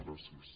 gràcies